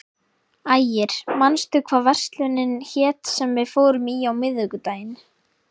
Ægir, manstu hvað verslunin hét sem við fórum í á miðvikudaginn?